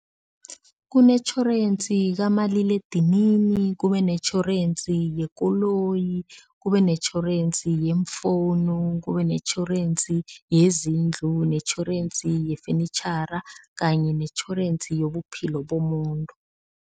Kunetjhorensi kamaliledinini, kube netjhorensi yekoloyi, kube netjhorensi yemfonu, kube netjhorensi yezindlu, netjhorensi yefenitjhara kanye netjhorensi yobuphilo bomuntu.